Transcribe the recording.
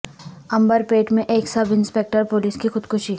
عنبر پیٹ میں ایک سب انسپکٹر پولیس کی خودکشی